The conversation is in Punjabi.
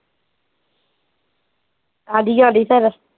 ਆਦੀ ਆਦੀ ਫਿਰ